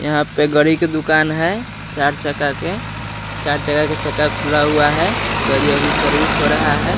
यहाँ पे गड़ी के दुकान है चार चक्का के चार चक्का के चक्का खुला हुआ है गड़ी सर्विस हो रहा है।